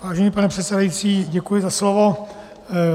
Vážený pane předsedající, děkuji za slovo.